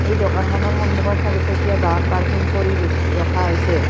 এই দোকানখনৰ সন্মুখত চাৰিচকীয়া বাহন পাৰ্কিং কৰি ৰখি ৰখা হৈছে।